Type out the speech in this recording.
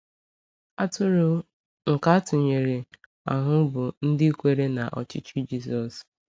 Atụrụ nke atụnyere ahụ bụ ndị kwere na ọchịchị Jisọs.